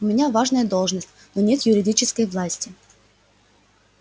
у меня важная должность но нет юридической власти